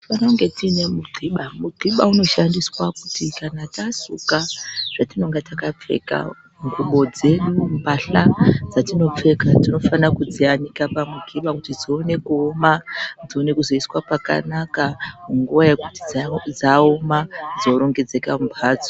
Tinofanira kunge tiine mungiba, mugiba unoshandiswa kuti kana tasuka zvatinenge takapfeka ngubo dzedu, mbatya dzatinopfeka tonofanira kudziyanika pamugiba. Kuti dzione kuoma dzione kuzoiswe pakanaka, munguva yekuti dzinenge dzaoma dzorongedzeka mumhatso.